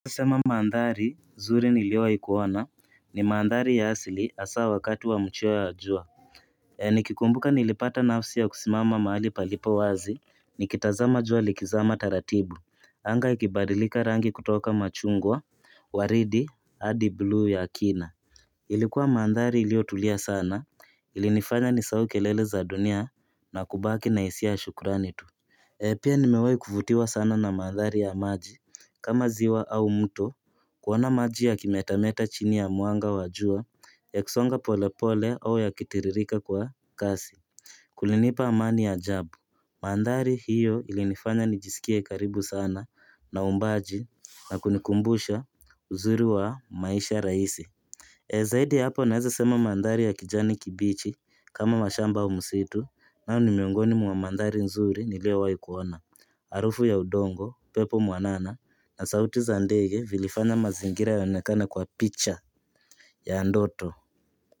Nisema maandhari zuri niliowaikuona ni maandhari ya hasili hasa wakati wa mcheo ya jua nikikumbuka nilipata nafsi ya kusimama mahali palipo wazi Nikitazama jua likizama taratibu Anga ikibadilika rangi kutoka machungwa Waridi hadi bluu ya kina Ilikuwa maandhari ilio tulia sana ilinifanya ni sahau kelele za dunia na kubaki na hisia ya shukurani tu pia nimewai kuvutiwa sana na mandhari ya maji kama ziwa au mto kuona maji ya kimetameta chini ya mwanga wa jua yakisonga pole pole au yakitiririka kwa kasi Kulinipa amani ya jabu Mandhari hiyo ili nifanya nijisikie karibu sana na umbaji na kunikumbusha uzuri wa maisha rahisi zaidi ya hapo naweza sema mandhari ya kijani kibichi kama mashamba au msitu hao ni miungoni mwa mandhari nzuri niliowai kuona harufu ya udongo upepo mwanana na sauti za ndege vilifanya mazingira yaonekane kwa picha ya ndoto.